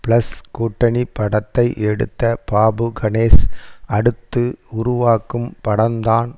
plus கூட்டணி படத்தை எடுத்த பாபு கணேஷ் அடுத்து உருவாக்கும் படம்தான்